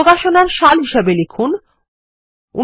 প্রকাশনার সাল হিসাবে লিখুন ১৯৭৫